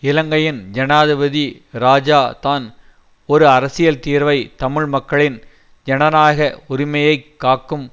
இலங்கையின் ஜனாதிபதி இராஜா தான் ஒரு அரசியல் தீர்வை தமிழ் மக்களின் ஜனநாயக உரிமையை காக்கும்